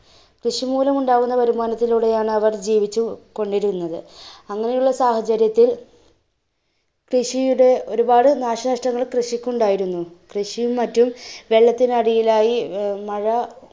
കൃഷിമൂലം ഉണ്ടായിരുന്ന വരുമാനത്തിലൂടെയാണവർ ജീവിച്ചുകൊണ്ടിരുന്നത്. അങ്ങനെയുള്ള സാഹചര്യത്തിൽ കൃഷിയുടെ ഒരുപാട് നാശനഷ്ടങ്ങൾ കൃഷിക്കുണ്ടായിരുന്നു, കൃഷിയും മറ്റും വെള്ളത്തിനടിയിലായി. മഴ~